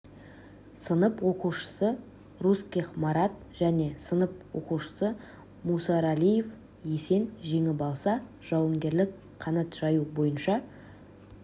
сынып оқушысы русских марат және сынып оқушысы мусаралиев есен жеңіп алса жауынгерлік қанат жаю бойынша